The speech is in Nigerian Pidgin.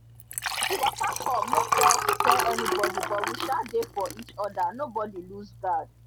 she waka come no tell tell anybody but we sha dey for each other nobody loose guard